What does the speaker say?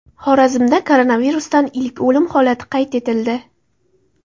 Xorazmda koronavirusdan ilk o‘lim holati qayd etildi.